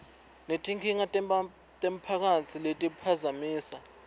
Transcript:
netinkinga temphakatsi letiphazamisa